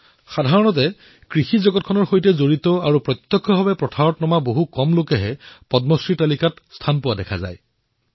সাধাৰণতে কৃষি জগতৰ সৈতে জড়িত বহু কোম লোকে আৰু প্ৰত্যক্ষ খেতি কৰোতাসকলৰ বহু কম লোকে পদ্মশ্ৰীৰ সূচীলৈ আহে